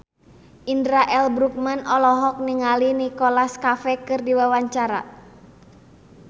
Indra L. Bruggman olohok ningali Nicholas Cafe keur diwawancara